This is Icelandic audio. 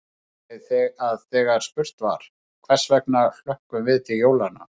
Ég vissi að þegar spurt var: hvers vegna hlökkum við til jólanna?